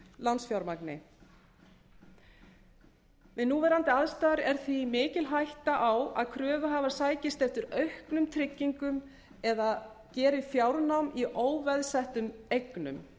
lánsfjármagni við núverandi aðstæður er því mikil hætta á að kröfuhafar sækist eftir auknum tryggingum eða geri fjárnám í óveðsettum eignum